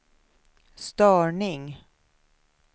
störning